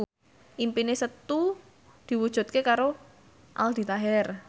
impine Setu diwujudke karo Aldi Taher